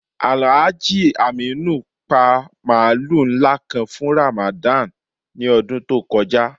Alhaji Aminu pa mààlù nlá kàn fún Ramadan ni ọdún tó kọja.